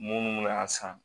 Munnu be na san